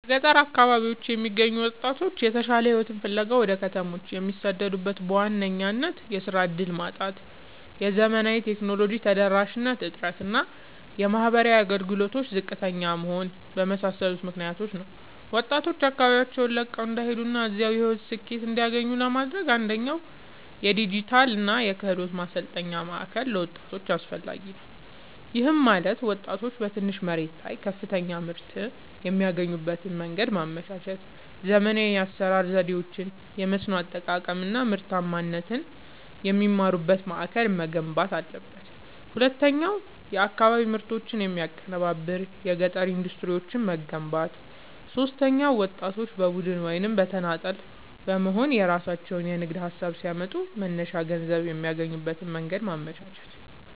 በገጠር አካባቢዎች የሚገኙ ወጣቶች የተሻለ ሕይወትን ፍለጋ ወደ ከተሞች የሚሰደዱት በዋናነት የሥራ ዕድል ማጣት፣ የዘመናዊ ቴክኖሎጂ ተደራሽነት እጥረት እና የማኅበራዊ አገልግሎቶች ዝቅተኛ መሆን በመሳሰሉ ምክኒያቶች ነው። ወጣቶች አካባቢያቸውን ለቀው እንዳይሄዱና እዚያው የሕይወት ስኬትን እንዲያገኙ ለማድረግ፣ አንደኛ የዲጂታልና የክህሎት ማሠልጠኛ ማእከል ለወጣቶች አስፈላጊ ነገር ነው። ይህም ማለት ወጣቶች በትንሽ መሬት ላይ ከፍተኛ ምርት የሚያገኙበትን መንገድ ማመቻቸት፣ ዘመናዊ የአሠራር ዘዴዎችን፣ የመስኖ አጠቃቀም አናምርታማነትን የሚማሩበት ማእከል መገንባት አለበት። ሁለተኛው የአካባቢ ምርቶችን የሚያቀናብር የገጠር ኢንዱስትሪዎችን መገንባት። ሦስተኛው ወጣቶች በቡድን ወይም በተናጠል በመሆንየራሣቸውን የንግድ ሀሳብ ሲያመጡ መነሻ ገንዘብ የሚያገኙበትን መንገድ ማመቻቸት።